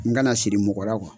N kana siri mɔgɔ